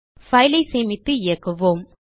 file ஐ சேமித்து இயக்குவோம்